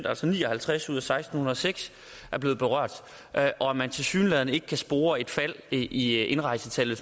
altså ni og halvtreds ud af seksten hundrede og seks er blevet berørt og at man tilsyneladende ikke kan spore et fald i indrejsetallet